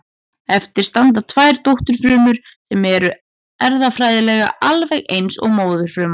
Eftir standa tvær dótturfrumur sem eru erfðafræðilega alveg eins og móðurfruman.